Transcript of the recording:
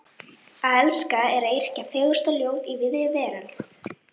Að elska er að yrkja fegursta ljóð í víðri veröld.